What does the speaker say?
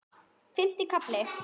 Fimmti kafli